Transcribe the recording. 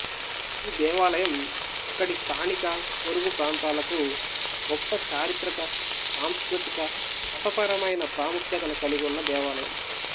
ఈ దేవాలయం అక్కడి స్థానిక పొరుగు ప్రాంతాలకు గొప్ప చారిత్రక సాంస్కృతిక మతపరమైన ప్రాముఖ్యతను కలిగివున్న దేవాలయం